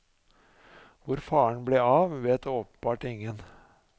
Hvor faren ble av, vet åpenbart ingen.